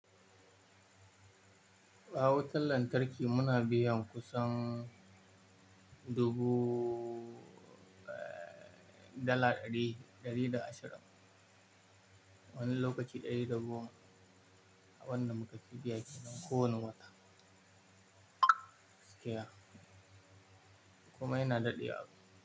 A wutan lantarki muna biyan kusan dubu dala ɗari, ɗari da ashirin wani lokaci ɗari da goma, a bunda muka fi biya kenan kowane wata. Okay ah, komai na daɗe wa.